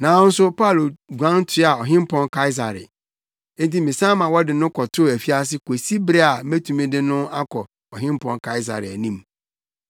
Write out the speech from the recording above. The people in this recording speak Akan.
Nanso Paulo guan toaa Ɔhempɔn Kaesare. Enti mesan ma wɔde no kɔtoo afiase kosi bere a metumi de no akɔ Ɔhempɔn Kaesare anim.”